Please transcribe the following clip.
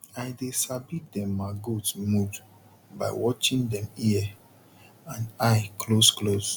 i dey sabi dem ma goat mood by watching dem ear and eye close close